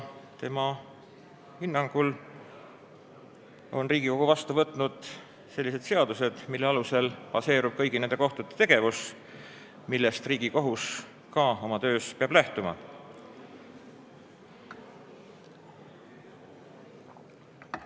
Tema hinnangul on Riigikogu vastu võtnud sellised seadused, millel baseerub kõigi nende kohtute tegevus, millest Riigikohus oma töös peab lähtuma.